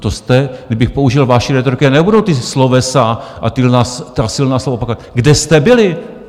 To jste, kdybych použil vaši rétoriku, a nebudu ta slovesa a ta silná slova opakovat, kde jste byli?